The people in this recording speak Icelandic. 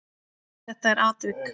Þetta er atvik.